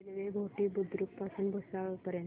railway Ghoti Budruk पासून भुसावळ पर्यंत